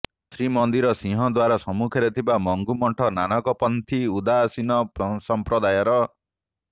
ଶ୍ରୀମନ୍ଦିର ସିଂହଦ୍ୱାର ସମ୍ମୁଖରେ ଥିବା ମଙ୍ଗୁ ମଠ ନାନକପନ୍ଥୀ ଉଦାସୀନ ସଂପ୍ରଦାୟର